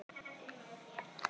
Er ekki það sem átt er við?